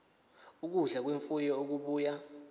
ukudla kwemfuyo okubuya